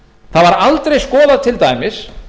það var aldrei skoðað til dæmis